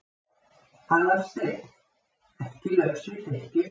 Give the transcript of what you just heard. Aðalsteinn, ekki laus við þykkju.